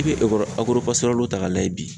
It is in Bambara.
I bɛ ta k'a lajɛ bi